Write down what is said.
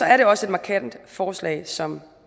er det også et markant forslag som